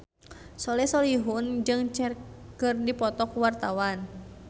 Soleh Solihun jeung Cher keur dipoto ku wartawan